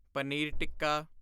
paneer tikka